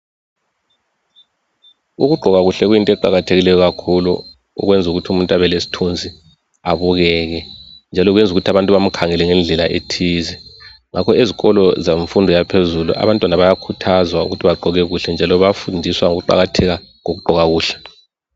Ukugqoka kuhle kuyinto eqakathekileyo kakhulu kwenza ukuthi umuntu abelesithunzi abukeke njalo kwenza abantu bamkhangele ngendlela ethize njalo ezikolo emfundo ephezulu abantwana bayakhuthazwa ukuthi bagqoke kuhle njalo bayafundiswa ukuqakatheka kokugqoka kuhle